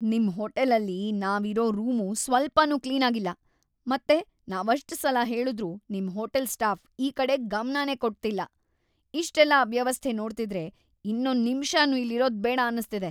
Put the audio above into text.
ನಿಮ್ ಹೋಟೆಲಲ್ಲಿ ನಾವಿರೋ ರೂಮು ಸ್ವಲ್ಪನೂ ಕ್ಲೀನಾಗಿಲ್ಲ ಮತ್ತೆ ‌ನಾವಷ್ಟ್‌ ಸಲ ಹೇಳುದ್ರೂ ನಿಮ್ ಹೋಟೆಲ್ ಸ್ಟಾಫ್ ಈ ಕಡೆ ಗಮ್ನನೇ ಕೊಡ್ತಿಲ್ಲ, ಇಷ್ಟೆಲ್ಲ ಅವ್ಯವಸ್ಥೆ ನೋಡ್ತಿದ್ರೆ ಇನ್ನೊಂದ್‌ ನಿಮ್ಷನೂ ಇಲ್ಲಿರೋದ್ಬೇಡ ಅನ್ಸ್ತಿದೆ.